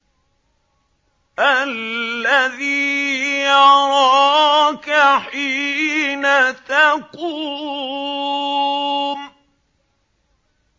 الَّذِي يَرَاكَ حِينَ تَقُومُ